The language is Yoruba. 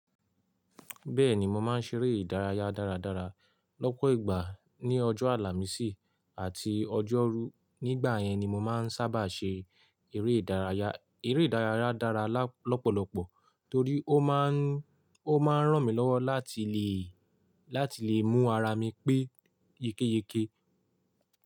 Bẹ́ẹ̀ni mo máa ń ṣeré ìdárayá dáradára lọ́pọ̀ ìgbà ní ọjọ́ àlàmísì àti ọjọ́rú. Nígbà yẹn ni mo máa ń sábà ṣe eré ìdárayá, eré ìdárayá dára lọ́pọ̀lọ́pọ̀ torí ó máà ń, ó máa ń ràn mí lọ́wọ́ láti lè, láti lè mú ara mi pé ye keyeke.